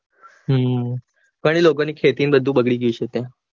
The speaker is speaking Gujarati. હમ પણ એ લોકોની ખેતીને બધું હશે ત્યાં